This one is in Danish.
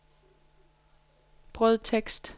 brødtekst